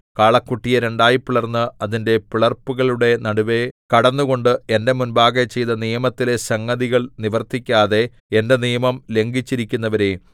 കാളക്കുട്ടിയെ രണ്ടായിപിളർന്ന് അതിന്റെ പിളർപ്പുകളുടെ നടുവെ കടന്നുകൊണ്ട് എന്റെ മുമ്പാകെ ചെയ്ത നിയമത്തിലെ സംഗതികൾ നിവർത്തിക്കാതെ എന്റെ നിയമം ലംഘിച്ചിരിക്കുന്നവരെ